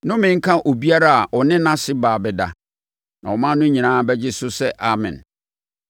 “Nnome nka obiara a ɔne nʼase baa bɛda.” Na ɔman no nyinaa bɛgye so sɛ, “Amen!”